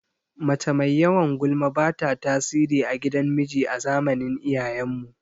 Mace mai yawan gulma bata tasiri a gidan miji a zamanin iyayen mu